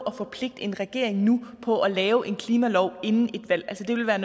at forpligte en regering på at lave en klimalov inden et valg altså det ville være